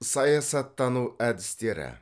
саясаттану әдістері